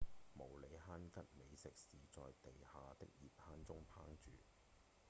毛利杭吉美食是在地下的熱坑中烹煮